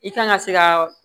I kan ka se ka